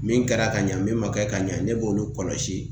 Min kɛra ka ɲɛ min ma kɛ ka ɲɛ ne b'olu kɔlɔsi